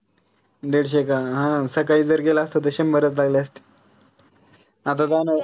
दिडशे का? हां सकाळी जर गेला असता त शंभरच लागले असते. आता जन